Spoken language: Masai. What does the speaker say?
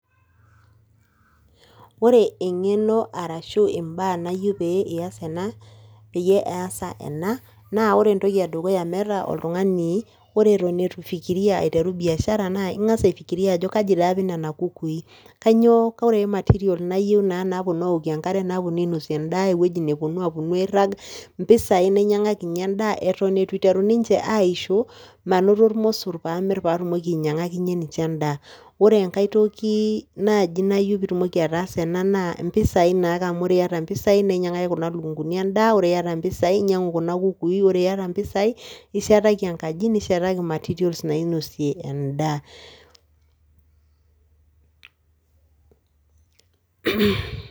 Ore eng'eno arashu imbaa nayou pee ias ena, peyie easa ena, naa ore entoki edukuya meeta oltung'ani, ore eton etu fikiria aiteru biashara naa ing'as aifikiria ajo kaji dei apik nena kukui, kainyoo koree material nayou naa napuonu aokie enkare napuonu ainosie endaa, ewueji napuonu apuonu airrag, mpisai nainyang'akinye endaa eton eitu eiteru ninche aaisho manoto irmossor paamirr paatumoki ainyang'akinye ninche endaa. Orengai tokii naaji nayou piitumoki ataasa ena naa mpisai naake amu ore iata mpisai naainyang'aki kuna lukunguni endaa, ore iata mpisai inyang'u